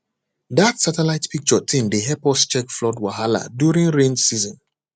that satellite picture thing dey help us check flood wahala during rain season